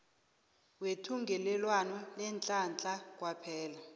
wethungelelwano leenhlahla kwaphela